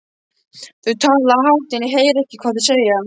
Þau tala hátt en ég heyri ekki hvað þau segja.